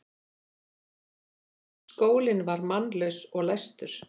Skólinn var mannlaus og læstur.